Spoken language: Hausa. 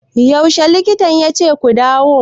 Yaushe likitan yace ku dawo?